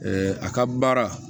a ka baara